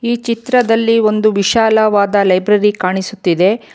ಈ ಚಿತ್ರದಲ್ಲಿ ಒಂದು ವಿಶಾಲವಾದ ಲೈಬ್ರರಿ ಕಾಣಿಸುತ್ತಿದೆ.